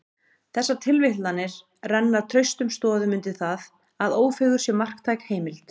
Þessar tilvitnanir renna traustum stoðum undir það, að Ófeigur sé marktæk heimild.